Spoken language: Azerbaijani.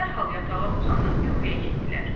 dərhal yatağa uzanıb yuxuya getdilər.